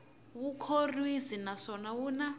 wu khorwisi naswona wu na